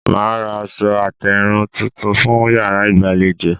Màá ra aṣọ àtèrìn tuntun fún yàrá ìgbàlejò